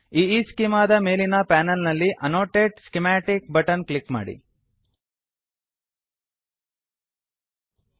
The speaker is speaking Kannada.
ಈಸ್ಚೆಮಾ ದ ಮೇಲಿನ ಪಾನಲ್ ನಲ್ಲಿ annotate schematic annotate schematic button click ಮಾಡಿ